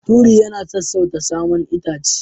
Turi yana sassauta saman itace.